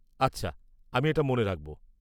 -আচ্ছা আমি এটা মনে রাখব।